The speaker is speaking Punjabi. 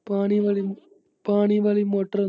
ਪਾਣੀ ਵਾਲੀ, ਪਾਣੀ ਵਾਲੀ ਮੋਟਰ।